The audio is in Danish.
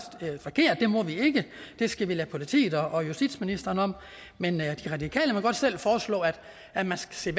forkert det må vi ikke det skal vi lade politiet og justitsministeren om men de radikale må godt selv foreslå at man skal